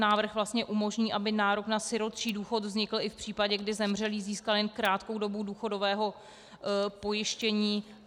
Návrh vlastně umožní, aby nárok na sirotčí důchod vznikl i v případě, kdy zemřelý získal jen krátkou dobu důchodové pojištění.